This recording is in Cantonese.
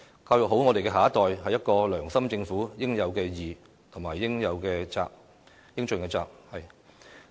"教育好我們下一代，是一個良心政府應有之義和應盡之責。